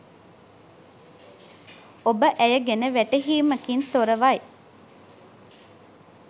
ඔබ ඇය ගැන වැටහීමකින් තොරවයි